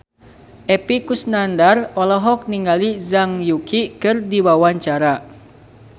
Epy Kusnandar olohok ningali Zhang Yuqi keur diwawancara